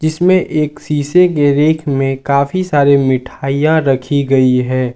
जिसमे एक शीशे के रेक में काफी सारे मिठाइयां रखी गई है।